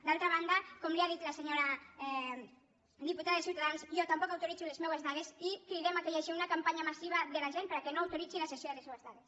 d’altra banda com li ha dit la senyora diputada de ciutadans jo tampoc autoritzo les meues dades i cridem que hi hagi una campanya massiva de la gent perquè no autoritzi la cessió de les seues dades